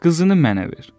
qızını mənə ver.